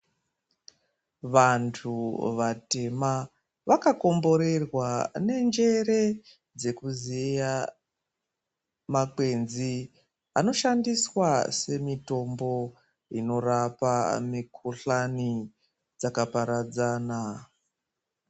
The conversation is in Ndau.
Vantu vatema vakakomborerwa nenjere, dzekuziya makwenzi anoshandiswa semitombo inorapa mikuhlani dzakaparadzana.